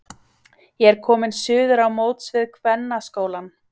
Ég er kominn suður á móts við kvennaskólann.